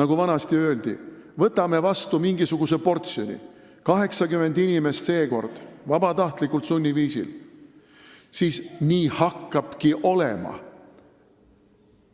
nagu vanasti öeldi, võtame vastu mingisuguse portsjoni pagulasi – seekord 80 inimest –, siis nii hakkabki olema.